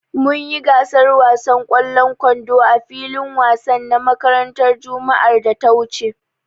Mun yi gasar wasan ƙwallon kwando a filin wansan na makarantar juma'ar da ta wuce.